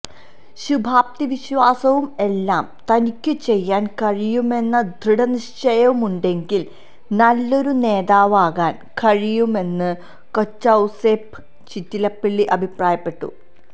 ശുഭാപ്തിവിശ്വാസവും എല്ലാം തനിക്കു ചെയ്യാന് കഴിയുമെന്ന ദൃഢനിശ്ചയവുമുണ്ടെങ്കില് നല്ലൊരു നേതാവാകാന് കഴിയുമെന്ന് കൊച്ചൌസേ പ്പ് ചിറ്റിലപ്പിള്ളി അഭിപ്രായപ്പെട്ടു